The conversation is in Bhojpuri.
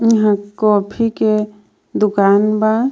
इहां कॉफी के दुकान बा.